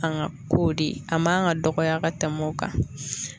An ga ko de ye a man ga dɔgɔya ka tɛm'o kan